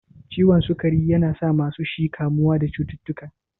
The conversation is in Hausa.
Ciwon sukari yana sa masu shi kamuwa da cututtuka.